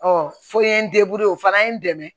fo n ye n o fana ye n dɛmɛ